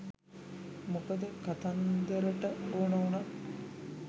මොකද කතන්දරට ඕන උනත්